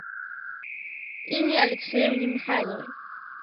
инне алексеевне михайловой